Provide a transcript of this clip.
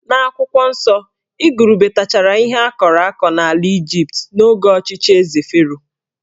N'akwụkwọ nsọ, igurube tachara ihe akọrọ akọ n'ala Ịjipt n'oge ọchịchị Eze Fero